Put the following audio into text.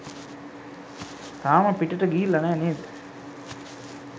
තාම පිටට ගිහිල්ලා නෑ නේද?